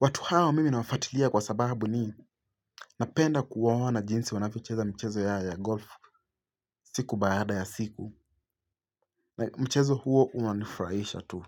Watu hao mimi nawafatilia kwa sababu ni napenda kuwaona jinsi wanavyocheza mchezo ya golfu siku baada ya siku. Na mchezo huo unanifraisha tu.